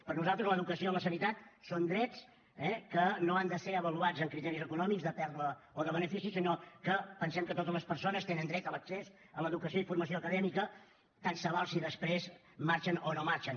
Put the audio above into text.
per nosaltres l’educació o la sanitat són drets eh que no han de ser avaluats amb criteris econòmics de pèrdua o de benefici sinó que pensem que totes les persones tenen dret a l’accés a l’educació i formació acadèmica tant se val si després marxen o no marxen